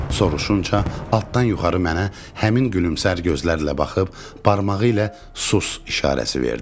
soruşunca altdan yuxarı mənə həmin gün gülümsər gözlərlə baxıb barmağı ilə sus işarəsi verdi.